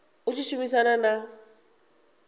u tshi khou shumisana na